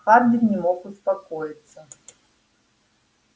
хардин не мог успокоиться